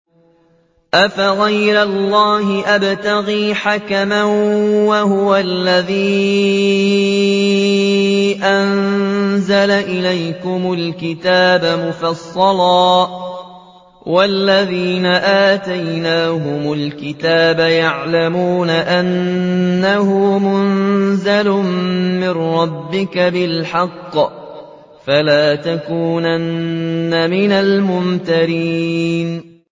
أَفَغَيْرَ اللَّهِ أَبْتَغِي حَكَمًا وَهُوَ الَّذِي أَنزَلَ إِلَيْكُمُ الْكِتَابَ مُفَصَّلًا ۚ وَالَّذِينَ آتَيْنَاهُمُ الْكِتَابَ يَعْلَمُونَ أَنَّهُ مُنَزَّلٌ مِّن رَّبِّكَ بِالْحَقِّ ۖ فَلَا تَكُونَنَّ مِنَ الْمُمْتَرِينَ